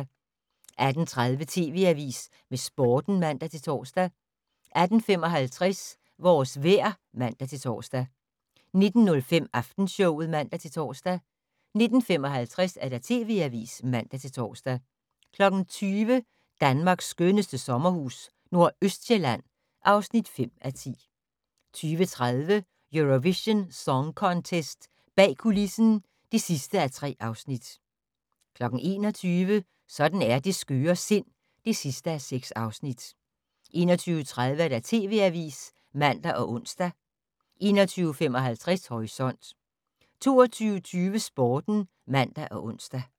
18:30: TV Avisen med Sporten (man-tor) 18:55: Vores vejr (man-tor) 19:05: Aftenshowet (man-tor) 19:55: TV Avisen (man-tor) 20:00: Danmarks skønneste sommerhus - Nordøstsjælland (5:10) 20:30: Eurovision Song Contest - bag kulissen (3:3) 21:00: Sådan er det skøre sind (6:6) 21:30: TV Avisen (man og ons) 21:55: Horisont 22:20: Sporten (man og ons)